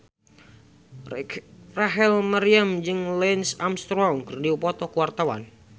Rachel Maryam jeung Lance Armstrong keur dipoto ku wartawan